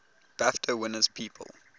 bafta winners people